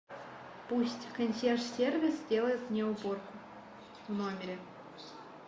пусть консьерж сервис сделает мне уборку в номере